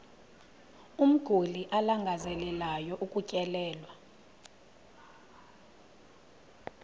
umguli alangazelelayo ukutyelelwa